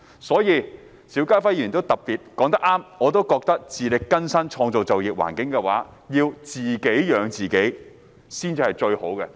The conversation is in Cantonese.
所以，邵家輝議員說得很對，我也認為自力更生、創造良好就業環境、自己養活自己才是最好的。